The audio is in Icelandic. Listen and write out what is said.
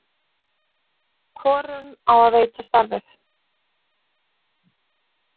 hvorum á að veita starfið